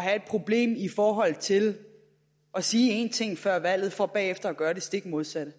have et problem i forhold til at sige en ting før valget for bagefter at gøre det stik modsatte